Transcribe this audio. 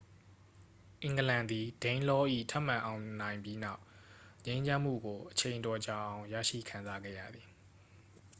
အင်္ဂလန်သည် danelaw ၏ ထပ်မံအောင်နိုင်ပြီးနောက် ငြိမ်းချမ်းမှုကို အချိန်အတော်ကြာအောင် ရရှိခံစားခဲ့ရသည်